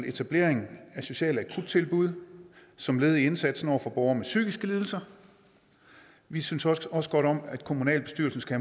etablering af sociale akuttilbud som led i indsatsen over for borgere med psykiske lidelser vi synes også godt om at kommunalbestyrelsen skal